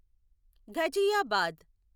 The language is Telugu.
ఘజియాబాద్